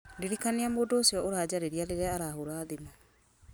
ndirikania mũndũ ũcio ũranjarĩria rĩrĩa arahũra thimũ